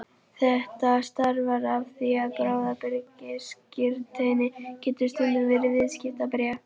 Þetta stafar af því að bráðabirgðaskírteini getur stundum verið viðskiptabréf.